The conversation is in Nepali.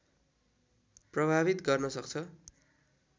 प्रभावित गर्न सक्छ